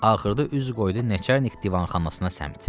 Axırda üz qoydu Nəçərnik divanxanasına səmt.